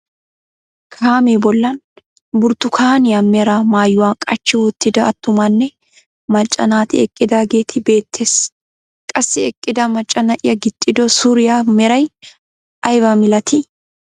Kaamee bollan burttukaaniyaa mera maayuwaa qaachchi wottida attumanne macca naati eqqidaageeti beettees. qassi eqqida macca na'iyaa gixxido suriyaa meray aybaa milatii?